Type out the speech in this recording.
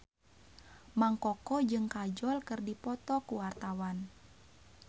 Mang Koko jeung Kajol keur dipoto ku wartawan